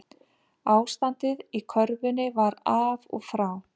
Ástandið í körfunni var af og frá